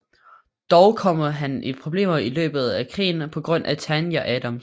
Dog kommer han i problemer i løbet af krigen på grund af Tanya Adams